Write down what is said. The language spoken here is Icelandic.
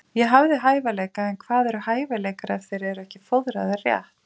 Ég hafði hæfileika en hvað eru hæfileikar ef þeir eru ekki fóðraðir rétt?